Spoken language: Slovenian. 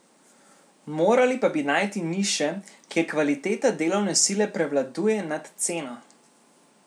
Morali bi pa najti niše, kjer kvaliteta delovne sile prevladuje nad ceno.